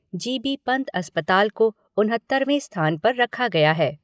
GB Pant अस्पताल को उनहत्तरवें स्थान पर रखा गया है।